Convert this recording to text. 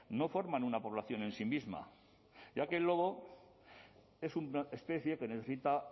no forman una población en sí misma ya que el lobo es una especie que necesita